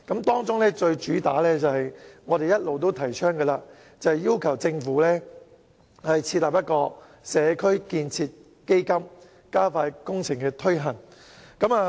當中最主要的是我們一直提倡的，便是要求政府設立"社區建設基金"，加快工程推行。